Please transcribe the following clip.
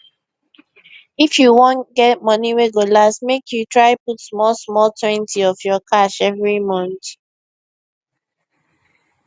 if you wan get money wey go last make you try put smallsmalltwentyof your cash every month